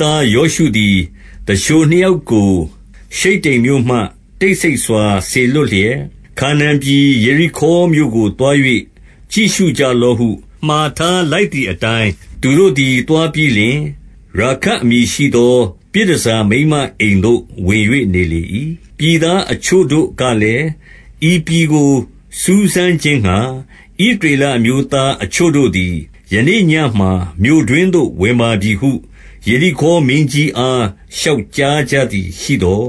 သားယောရှုသည် သူလျှိုနှစ်ယောက်ကို ရှိတ္တိမ်မြို့မှ တိတ်ဆိတ်စွာစေလွှတ်လျက်၊ ခါနာန်ပြည် ယေရိခေါမြို့ကို သွား၍ ကြည့်ရှုကြလော့ဟု မှာထားလိုက် သည်အတိုင်း၊ သူတို့သည် သွားပြီးလျှင် ရာခပ်အမည်ရှိ သော ပြည်တန်ဆာမိန်းမအိမ်သို့ ဝင်၍နေလေ၏။ 2 ပြည်သားအချို့တို့ကလည်း၊ ဤပြည်ကို စူးစမ်း ခြင်းငှါ ဣသရေလအမျိုးသားအချို့တို့သည် ယနေ့ည မှာ မြို့တွင်းသို့ ဝင်ပါပြီဟု ယေရိခေါမင်းကြီးအား လျှောက်ကြားကြသည် ရှိသော်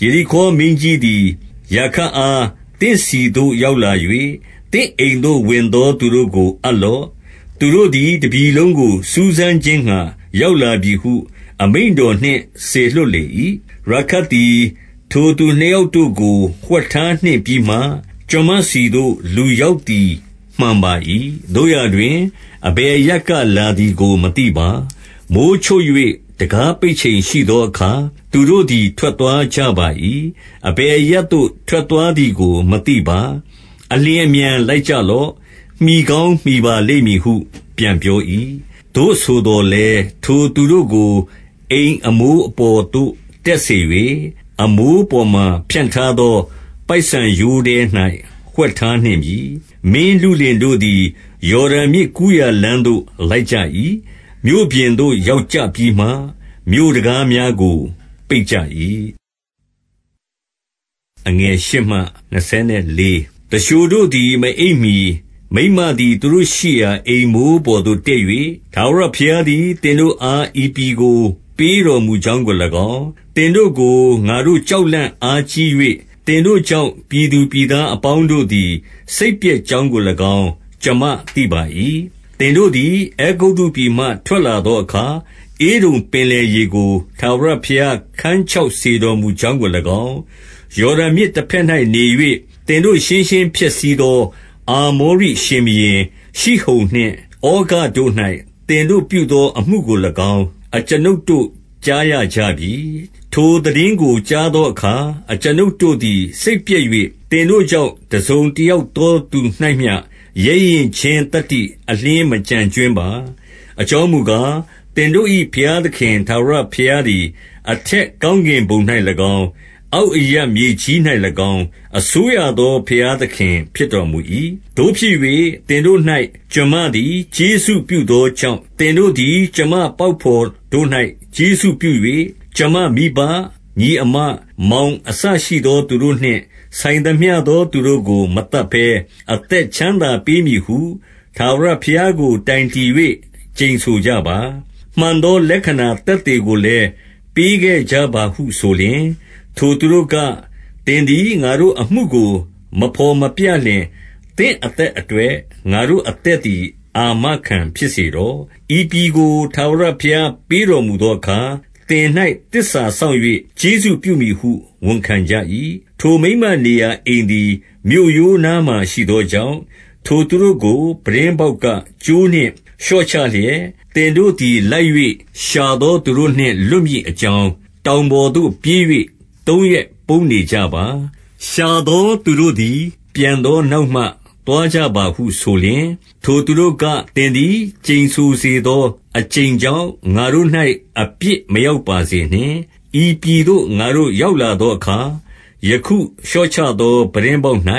၊ 3 ယေရိခေါမင်းကြီးသည် ရာခပ်အား သင့်ဆီသို့ ရောက်လာ၍၊ သင့်အိမ်သို့ဝင်သောသူတို့ကို အပ်လော့။ သူတို့သည် တပြည်လုံးကို စူးစမ်းခြင်းငှါ ရောက်လာပြီဟု အမိန့်တော်နှင့် စေလွှတ်လေ၏။ 4 ရာခပ်သည် ထိုသူနှစ်ယောက်တို့ကို ဝှက်ထား နှင့်ပြီးမှ ကျွန်မဆီသို့ လူရောက်သည် မှန်ပါ၏။ သို့ရာ တွင် အဘယ်အရပ်ကလာသည်ကို မသိပါ။ 5 မိုဃ်းချုပ်၍ တံခါးပိတ်ချိန်ရှိသောအခါ၊ သူတို့ သည် ထွက်သွားကြပါ၏။ အဘယ်အရပ်သို့ ထွက်သွား သည်ကို မသိပါ။ အလျင်အမြန်လိုက်ကြလော့။ မှီကောင်း မှီပါလိမ့်မည်ဟု ပြန်ပြော၏။ 6 သို့ဆိုသော်လည်း ထိုသူတို့ကို အိမ်အပေါ်သို့ တက်စေ၍၊ အမိုးပေါ်မှာဖြန့်ထားသော ပိုက်ဆန်ရိုးထဲ၌ ဝှက်ထားနှင့်ပြီ။ 7 မင်းလုလင်တို့သည် ယော်ဒန်မြစ်ကူးရာလမ်းသို့ လိုက်ကြ၏။ မြို့ပြင်သို့ရောက်ကြပြီးမှ မြို့တံခါးများကို ပိတ်ကြ၏။ 8 သူလျှိုတို့သည် မအိပ်မှီ မိန်းမသည် သူတို့ရှိရာ အိမ်မိုးပေါ်သို့တက်၍၊ 9 ထာဝရဘုရားသည် သင်တို့အား ဤပြည်ကို ပေး တော်မူကြောင်းကို၎င်း၊ သင်တို့ကို ငါတို့ကြောက်လန့်အား ကြီး၍ သင်တို့ကြောင့် ပြည်သူပြည်သားအပေါင်းတို့သည် စိတ်ပျက်ကြောင်းကို၎င်း ကျွန်မသိပါ၏။ 10 သင်တို့သည် အဲဂုတ္တုပြည်မှထွက်လာသောအခါ၊ ဧဒုံပင်လယ်ရေကို ထာဝရဘုရား ခန်းခြောက်စေတော်မူ ကြောင်းကို၎င်း၊ ယော်ဒန်မြစ်တဘက်၌နေ၍ သင်တို့ ရှင်းရှင်းဖျက်ဆီးသော အာမောရိရှင်ဘုရင် ရှိဟုန်နှင့် ဩဃတို့၌ သင်တို့ပြုသောအမှုကို၎င်း၊ အကျွန်ုပ်တို့ကြား ရကြပြီ။ 11 ထိုသိတင်းကိုကြားသောအခါ၊ အကျွန်ုပ်တို့သည် စိတ်ပျက်၍ သင်တို့ကြောင့် တစုံတယောက်သောသူ၌မျှ ရဲရင့်ခြင်းသတ္တိ အလျှင်းမကျန်ကြွင်းပါ။ အကြောင်းမူ ကား၊ သင်တို့၏ဘုရားသခင် ထာဝရဘုရားသည် အထက် ကောင်းကင်ဘုံ၌၎င်း၊ အောက်အရပ်မြေကြီး၌၎င်း၊ အစိုး ရသော ဘုရားသခင်ဖြစ်တော်မူ၏။ 12 သို့ဖြစ်၍ သင်တို့၌ ကျွန်မသည် ကျေးဇူးပြုသော ကြောင့် သင်တို့သည် ကျွန်မပေါက်ဘော်တို့၌ ကျေးဇူးပြု ၍၊ 13 ကျွန်မမိဘ၊ ညီအစ်မ၊ မောင်အစရှိသော သူတို့ နှင့်ဆိုင်သမျှသော သူတို့ကို မသတ်ဘဲ အသက်ချမ်းသာ ပေးမည်ဟု ထာဝရဘုရားကို တိုင်တည်၍ ကျိန်ဆိုကြပါ။ မှန်သောလက္ခဏာသက်သေကိုလည်း ပေးခဲ့ကြပါဟုဆို လျှင်၊ 14 ထိုသူတို့က၊ သင်သည် ငါတို့အမှုကို မဘော်မပြ လျှင် သင့်အသက်အတွက် ငါတို့အသက်သည် အာမခံ ဖြစ်စေတော့။ ဤပြည်ကို ထာဝရဘုရားပေးတော်မူသော အခါ၊ သင်၌ သစ္စာစောင့်၍ ကျေးဇူးပြုမည်ဟု ဝန်ခံကြ၏။ 15 ထိုမိန်းမနေရာ အိမ်သည် မြို့ရိုးနားမှာရှိသော ကြောင့်၊ ထိုသူတို့ကို ပြတင်းပေါက်ကကြိုးနှင့် လျှော့ချ လျက်၊ 16 သင်တို့သည် လိုက်၍ရှာသောသူတို့နှင့် လွတ် မည်အကြောင်း တောင်ပေါ်သို့ပြေး၍ သုံးရက်ပုန်းနေကြ ပါ။ ရှာသောသူတို့သည် ပြန်သောနောက်မှ သွားကြပါဟု ဆိုလျှင်၊ 17 ထိုသူတို့က၊ သင်သည် ကျိန်ဆိုစေသောအကျိန် ကြောင့်၊ ငါတို့၌ အပြစ်မရောက်ပါစေနှင့်။ 18 ဤပြည်သို့ ငါတို့ရောက်လာသောအခါ၊ ယခု လျှော့ချသော ပြတင်းပေါက်၌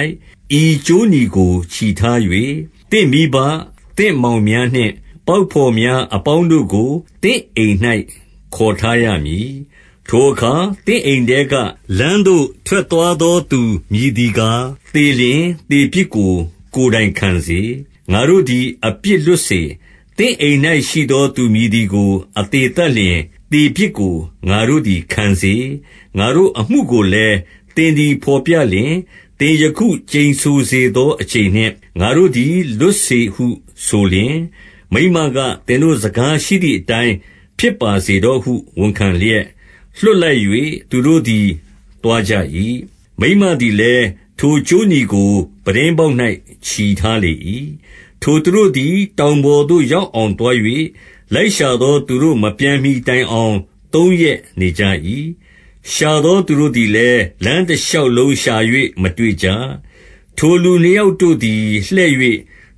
ဤကြိုးနီကို ချည်ထား၍၊ သင့်မိဘ၊ သင့်မောင်များနှင့် ပေါက်ဘော်များအပေါင်းတို့ ကို သင့်အိမ်၌ ခေါ်ထားရမည်။ 19 ထိုအခါ သင့်အိမ်ထဲက လမ်းသို့ထွက်သွားသော သူမည်သည်ကား၊ သေလျှင်သေပြစ်ကို ကိုယ်တိုင်ခံစေ၊ ငါတို့သည် အပြစ်လွတ်စေ။ သင့်အိမ်၌ ရှိသောသူမည် သည်ကို အသေသတ်လျှင် သေပြစ်ကို ငါတို့သည် ခံစေ။ 20 ငါတို့အမှုကိုလည်း သင်သည် ဘော်ပြလျှင်၊ သင်ယခုကျိန်ဆိုစေသော အကျိန်နှင့် ငါတို့သည် လွတ်စေ ဟုဆိုလျှင်၊ 21 မိန်းမက၊ သင်တို့စကားရှိသည်အတိုင်း ဖြစ်ပါ စေတော့ဟု ဝန်ခံလျက် လွှတ်လိုက်၍ သူတို့သည် သွားကြ ၏။ မိန်းမသည်လည်း ထိုကြေးနီကို ပြတင်းပေါက်၌ ချည်ထားလေ၏။ 22 ထိုသူတို့သည် တောင်ပေါ်သို့ရောက်အောင် သွား၍ လိုက်ရှာသောသူတို့ မပြန်မှီတိုင်အောင် သုံးရက် နေကြ၏။ ရှာသောသူတို့သည်လည်း လမ်းတရှောက်လုံး ရှာ၍ မတွေ့ကြ။ 23 ထိုလူနှစ်ယောက်တို့သည် လှည့်၍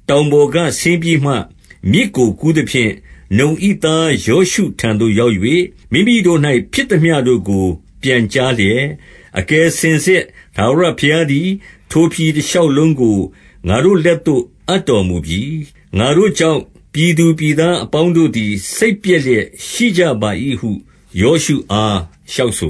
တောင်ပေါ် က ဆင်းပြီးမှ မြစ်ကို ကူးသဖြင့်၊ နုန်၏သား ယောရှုထံသို့ ရောက်၍၊ မိမိတို့၌ ဖြစ်သမျှတို့ကို ပြန်ကြားလျက်၊ 24 အကယ်စင်စစ် ထာဝရဘုရားသည် ထိုပြည် တရှောက်လုံးကို ငါတို့လက်သို့ အပ်တော်မူပြီ။ ငါတို့ ကြောင့် ပြည်သူပြည်သားအပေါင်းတို့သည် စိတ်ပျက် လျက် ရှိကြပါ၏ဟု ယောရှုအား လျှောက်ဆို